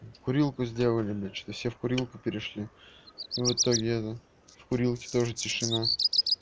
курилку сделали бля что все в курилку перешли в итоге это в курилке тоже тишина